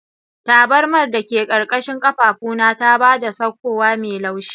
Tabarmar da ke ƙarƙashin ƙafafuna ta ba da saukowa mai laushi.